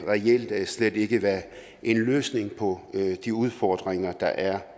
reelt slet ikke være en løsning på de udfordringer der er